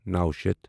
نَو شیتھ